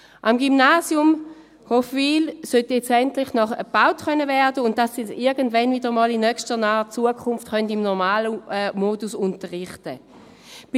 Am Gymnasium Hofwil sollte nun endlich gebaut werden können, damit sie in möglichst naher Zukunft im normalen Modus unterrichten können.